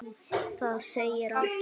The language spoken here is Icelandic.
Það segir allt.